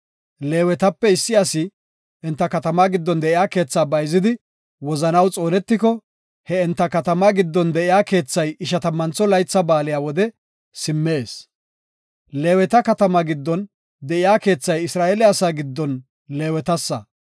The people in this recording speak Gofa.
Leewetape issi asi enta katamaa giddon de7iya keethaa bayzidi wozanaw xoonetiko, he enta katamaa giddon de7iya keethay Ishatammantho Laytha Baaliya wode simmees. Leeweta katamaa giddon de7iya keethay Isra7eele asaa giddon Leewetasa.